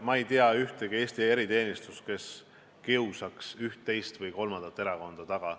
Ma ei tea ühtegi Eesti eriteenistust, kes kiusaks üht, teist või kolmandat erakonda taga.